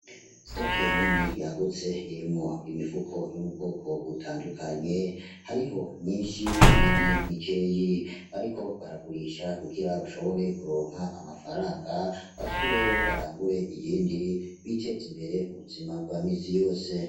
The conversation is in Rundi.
Sitoke nini yagutse irimwo imifuko yo mu bwoko butandukanye , hariho myinshi n’iyindi mike bariko baragurisha kugira bashobore kuronka amafaranga basubireyo barangure iyindi biteze imbere mu buzima bwa misi yose .